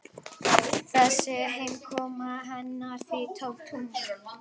Þessi heimkoma hennar því tómt rugl.